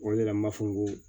O yɛrɛ m'a fɔ ko